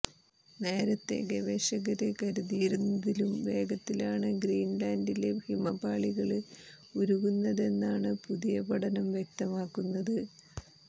നേരത്തെ ഗവേഷകര് കരുതിയിരുന്നതിലും വേഗത്തിലാണ് ഗ്രീന്ലാന്ഡിലെ ഹിമപാളികള് ഉരുകുന്നതെന്നാണ് പുതിയ പഠനം വ്യക്തമാക്കുന്നത്